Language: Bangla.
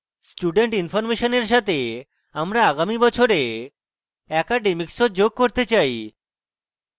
student information এর সাথে আমরা আগামী বছরে academics ও যোগ করতে চাই